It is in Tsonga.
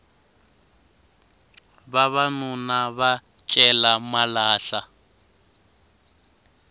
vavanuna va cela malahla